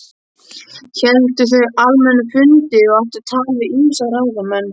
Héldu þau almenna fundi og áttu tal við ýmsa ráðamenn.